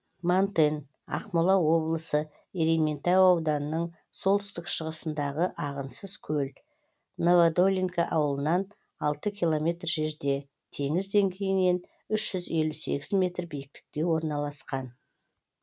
мантен ақмола облысы ерейментау ауданының солтүстік шығысындағы ағынсыз көл новодолинка ауылынан алты километр жерде теңіз деңгейінен үш жүз елу сегіз метр биіктікте орналасқан